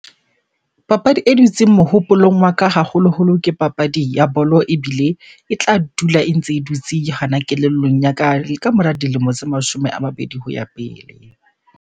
Papadi e dutseng mohopolong wa ka haholoholo ke papadi ya bolo, ebile e tla dula e ntse e dutse hana kelellong ya ka le kamora dilemo tse mashome a mabedi ho ya pele.